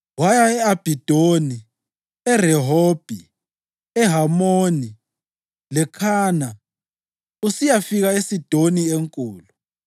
Waya e-Abhidoni, eRehobhi, eHamoni leKhana usiyafika eSidoni enkulu.